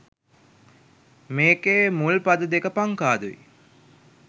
මේකෙ මුල් පද දෙක පංකාදු යි